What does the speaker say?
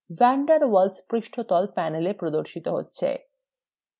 van der waals পৃষ্ঠতল panel প্রদর্শিত হয়